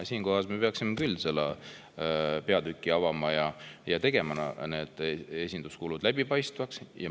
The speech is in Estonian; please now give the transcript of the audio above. Siinkohal me peaksime küll selle peatüki avama ja tegema need esinduskulud läbipaistvaks.